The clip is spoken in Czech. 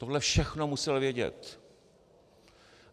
Tohle všechno musel vědět.